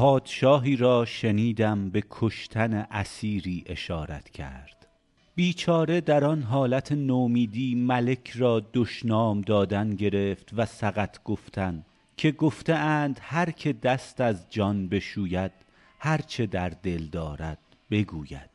پادشاهی را شنیدم به کشتن اسیری اشارت کرد بیچاره در آن حالت نومیدی ملک را دشنام دادن گرفت و سقط گفتن که گفته اند هر که دست از جان بشوید هر چه در دل دارد بگوید